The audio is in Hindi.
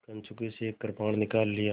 कंचुकी से एक कृपाण निकाल लिया